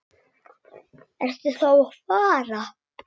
Ertu þá að fara?